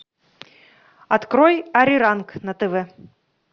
открой ариранг на тв